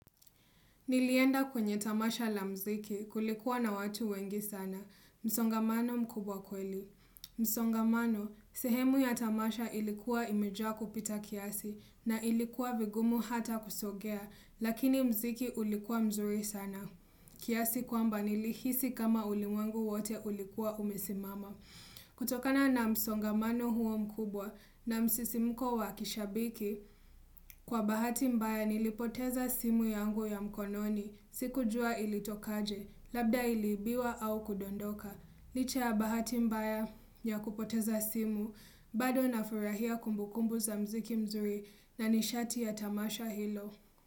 Nilienda kwenye tamasha la mziki kulikuwa na watu wengi sana, msongamano mkubwa kweli. Msongamano, sehemu ya tamasha ilikuwa imejaa kupita kiasi na ilikuwa vigumu hata kusongea, lakini mziki ulikuwa mzuri sana. Kiasi kwamba nilihisi kama ulimwengu wote ulikuwa umesimama. Kutokana na msongamano huo mkubwa na msisimuko wa kishabiki Kwa bahati mbaya nilipoteza simu yangu ya mkononi Sikujua ilitokaje, labda iliibiwa au kudondoka Licha ya bahati mbaya ya kupoteza simu bado na furahia kumbukumbu za mziki mzuri na nishati ya tamasha hilo.